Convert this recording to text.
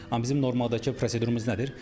Amma bizim normaldakı prosedurumuz nədir?